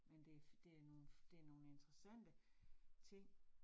Men det det er nogle det er nogle interessante ting